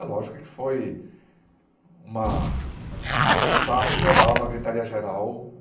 É lógico que foi uma um sarro geral, uma gritaria geral.